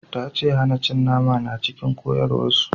Ta ce hana cin nama na cikin koyarwar su